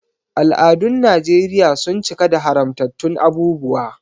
Al’adun Najeriya sun cika da haramtattun abubuwa.